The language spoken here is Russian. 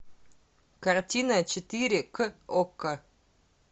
картина четыре к окко